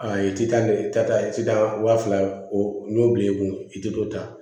Aa i ti taa i ti taa wa fila o n'o bil'i kun i te dɔ ta